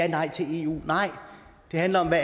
nej til eu nej det handler om hvad